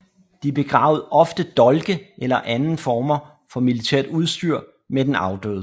De begravede ofte dolke eller anden former for militært udstyr med den afdøde